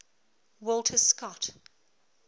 walter scott